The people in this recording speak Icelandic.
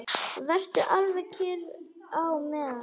Vertu alveg kyrr á meðan.